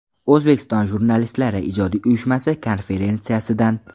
O‘zbekiston Jurnalistlari ijodiy uyushmasi konferensiyasidan.